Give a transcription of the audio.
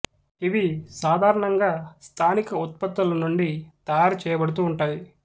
ఇవి సాధారణంగా స్థానిక ఉత్పత్తుల నుండి తయారు చేయబడుతూ ఉంటాయి